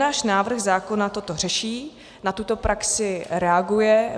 Náš návrh zákona toto řeší, na tuto praxi reaguje.